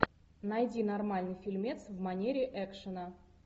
найди нормальный фильмец в манере экшена